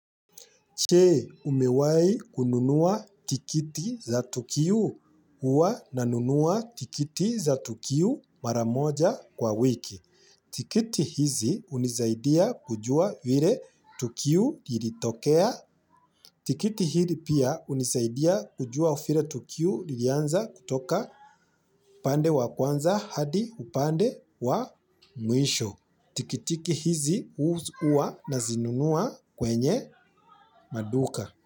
Chee umewai kununua tikiti za tukiu uwa nanunua tikiti za tukiu maramoja kwa wiki. Tikiti hizi unizaidia kujua vire tukiu yiritokea. Tikiti hili pia unizaidia kujua vire tukiu lilianza kutoka upande wa kwanza hadi upande wa mwisho. Tikitiki hizi uwa nazinunua kwenye maduka.